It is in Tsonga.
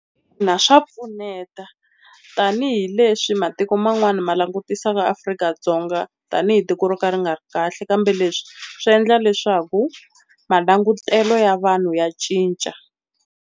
Ina swa pfuneta tanihileswi matiko man'wana ma langutisaka Afrika-Dzonga tani hi tiko ro ka ri nga ri kahle kambe leswi swi endla leswaku malangutelo ya vanhu ya cinca.